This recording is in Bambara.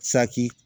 Saki